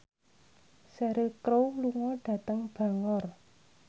Cheryl Crow lunga dhateng Bangor